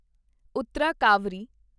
ਉੱਤਰਾ ਕਾਵਰੀ